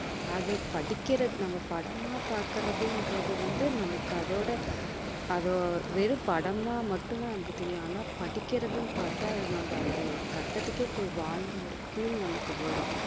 அது படிக்கிறது நம்ம படமா பாக்குறதுன்றது வந்து, நமக்கு அதோட அதை வெறும் படமா மட்டும்தான் நமக்கு தெரியும் ஆனா படிக்கிறதுன்னு பார்த்தா நம்ம அந்த கட்டத்துக்கே போய் வாழ்ந்து ஒரு feel நமக்கு வரும்